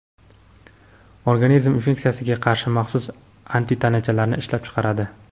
organizm infeksiyaga qarshi maxsus antitanachalarni ishlab chiqaradi.